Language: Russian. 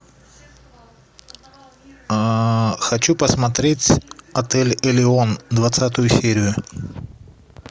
а хочу посмотреть отель элеон двадцатую серию